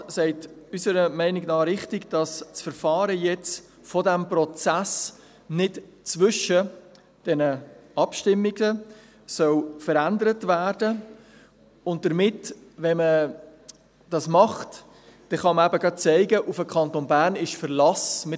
Der Regierungsrat sagt unserer Meinung nach richtig, dass das Verfahren jetzt von diesem Prozess nicht zwischen diesen Abstimmungen verändert werden soll und man damit, wenn man das macht, dann eben gerade zeigen kann, dass auf den Kanton Bern Verlass ist.